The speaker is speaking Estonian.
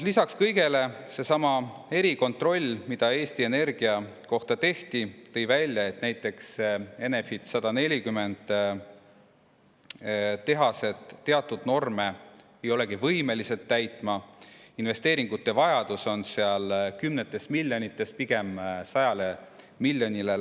Lisaks kõigele, seesama erikontroll, mis Eesti Energia kohta tehti, tõi välja, et näiteks Enefit 140 tehased teatud norme ei olegi võimelised täitma, investeeringute vajadus on seal kümnetes miljonites ja läheneb sajale miljonile.